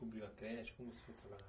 a creche? Como você foi trabalhar?